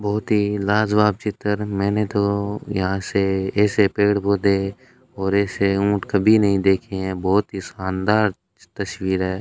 बहुत ही लाजवाब चित्र मैने तो यहां से ऐसे पेड़ पौधे और ऐसे ऊंट कभी नहीं देखे हैं बहोत ही शानदार तस्वीर है।